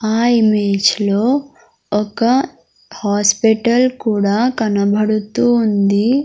ఆ ఇమేజ్ లో ఒక హాస్పిటల్ కూడా కనబడుతూ ఉంది.